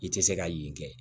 I tɛ se ka yen kɛ